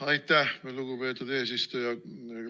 Aitäh, lugupeetud eesistuja!